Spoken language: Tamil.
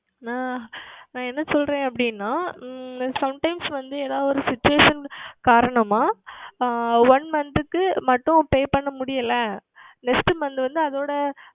நான் நான் என்ன சொல்லுகிறேன் அப்படி என்றால் உம் Sometimes வந்து எதாவது ஓர் Situation காரணமாக ஆஹ் One Month க்கு மட்டும் Pay செய்ய முடியவில்லை Next Month வந்து அதனுடன்